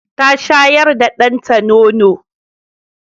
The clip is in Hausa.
Ta shayar da danta nono.